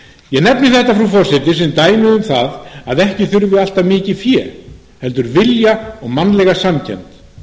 ég nefni þetta frú forseti sem dæmi um það að ekki þurfi alltaf mikið fé heldur vilja og mannlega samkennd